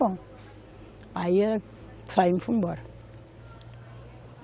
Bom, aí saímos e fomos embora.